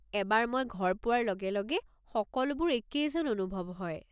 এবাৰ মই ঘৰ পোৱাৰ লগে লগে সকলোবোৰ একেই যেন অনুভৱ হয়।